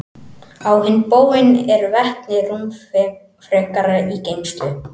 Á hinn bóginn er vetni rúmfrekara í geymslu.